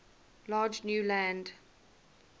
large new land